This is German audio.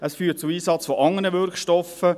Es führt zum Einsatz von anderen Wirkstoffen;